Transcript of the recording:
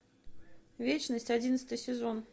вечность одиннадцатый сезон